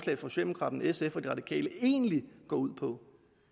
socialdemokraterne sf og radikale egentlig går ud på